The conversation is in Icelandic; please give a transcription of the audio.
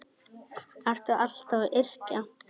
Ertu alltaf að yrkja?